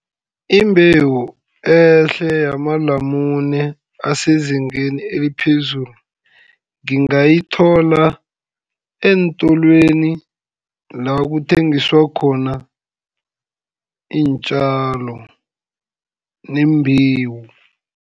Imbewu ehle yamalamune asezingeni eliphezulu, ngingayithola eentolweni lakuthengiswa khona iintjalo neembewu.